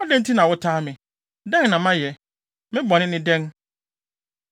Adɛn nti na wotaa me? Dɛn na mayɛ? Me bɔne ne dɛn?